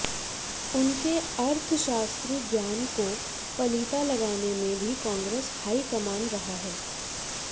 उनके अर्थशास्त्री ज्ञान को पलीता लगाने में भी कांग्रेस हाईकमान रहा है